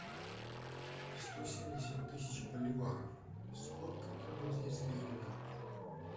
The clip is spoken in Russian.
сто семьдесят тысяч боливаров сколько это в бразильских реалах